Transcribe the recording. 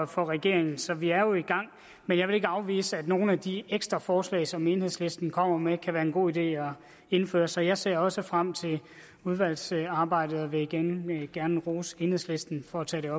for regeringen så vi er jo i gang men jeg vil ikke afvise at nogle af de ekstra forslag som enhedslisten kommer med kan det være en god idé at indføre så jeg ser også frem til udvalgsarbejdet og vil igen gerne rose enhedslisten for at tage